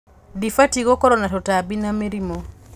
Dĩbatiĩ gũkorwo na tũtambi na mĩrimũ.